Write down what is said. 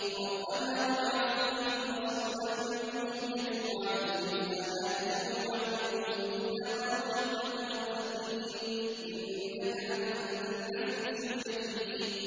رَبَّنَا وَابْعَثْ فِيهِمْ رَسُولًا مِّنْهُمْ يَتْلُو عَلَيْهِمْ آيَاتِكَ وَيُعَلِّمُهُمُ الْكِتَابَ وَالْحِكْمَةَ وَيُزَكِّيهِمْ ۚ إِنَّكَ أَنتَ الْعَزِيزُ الْحَكِيمُ